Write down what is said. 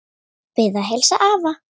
Bið að heilsa afa.